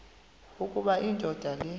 ukuba indoda le